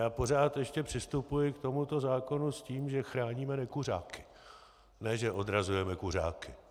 Já pořád ještě přistupuji k tomuto zákonu s tím, že chráníme nekuřáky, ne že odrazujeme kuřáky.